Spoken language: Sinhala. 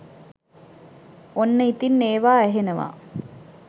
ඔන්න ඉතින් ඒවා ඇහෙනවා